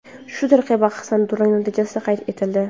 Shu tariqa bahsda durang natijasi qayd etildi.